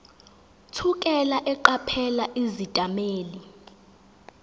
thukela eqaphela izethameli